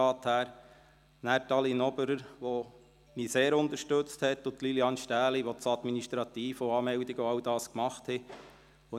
Dann danke ich Aline Oberer und Lilian Stähli, die mich sehr unterstützten und das Administrative sowie die Anmeldungen erledigten.